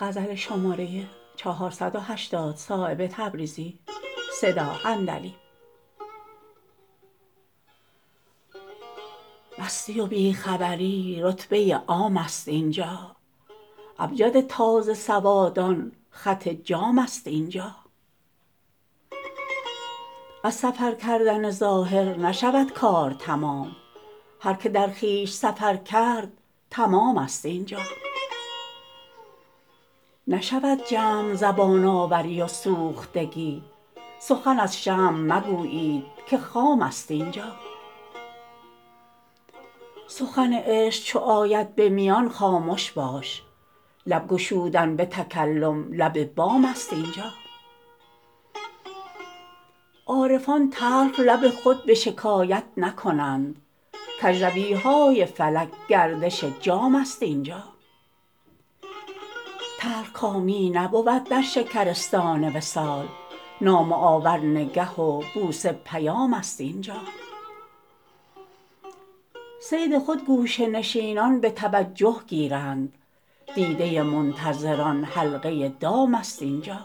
مستی و بی خبری رتبه عام است اینجا ابجد تازه سوادان خط جام است اینجا از سفر کردن ظاهر نشود کار تمام هر که در خویش سفر کرد تمام است اینجا نشود جمع زبان آوری و سوختگی سخن از شمع مگویید که خام است اینجا سخن عشق چو آید به میان خامش باش لب گشودن به تکلم لب بام است اینجا عارفان تلخ لب خود به شکایت نکنند کجروی های فلک گردش جام است اینجا تلخکامی نبود در شکرستان وصال نامه آور نگه و بوسه پیام است اینجا صید خود گوشه نشینان به توجه گیرند دیده منتظران حلقه دام است اینجا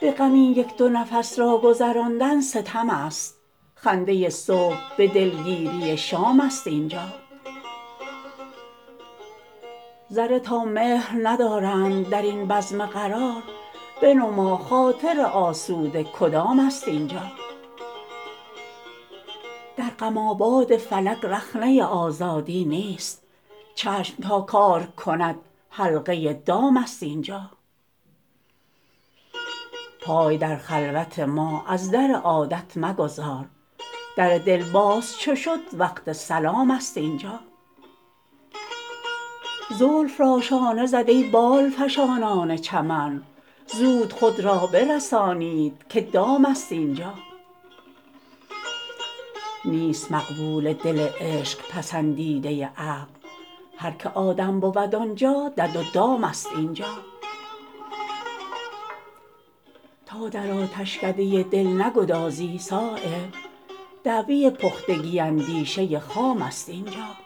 به غم این یک دو نفس را گذراندن ستم است خنده صبح به دلگیری شام است اینجا ذره تا مهر ندارند درین بزم قرار بنما خاطر آسوده کدام است اینجا در غم آباد فلک رخنه آزادی نیست چشم تا کار کند حلقه دام است اینجا پای در خلوت ما از در عادت مگذار در دل باز چو شد وقت سلام است اینجا زلف را شانه زد ای بال فشانان چمن زود خود را برسانید که دام است اینجا نیست مقبول دل عشق پسندیده عقل هر که آدم بود آنجا دد و دام است اینجا تا در آتشکده دل نگدازی صایب دعوی پختگی اندیشه خام است اینجا